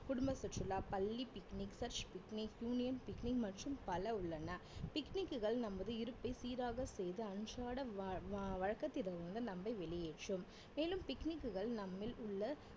குடும்ப சுற்றுலா, பள்ளி picnic research picnic, union picnic மற்றும் பல உள்ளன picnic க்குகள் நமது இருப்பை சீராக செய்து அன்றாட வ~ வ~ வழக்கத்தில் இருந்து நம்மை வெளியேற்றும் மேலும் picnic குகள் நம்மில் உள்ள